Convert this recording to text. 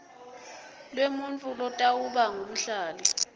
lwemuntfu lotawuba ngumhlali